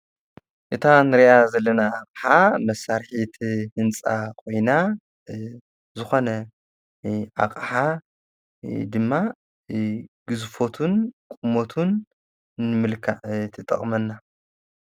እታ ንርያ ዘለና ኸዓ መሣርሒቲ ሕንፃ ኾይና ዝኾነ ኣቐዓ ድማ ግዝፎትን ቁሞቱን ምልካ ትጠቕመና፡፡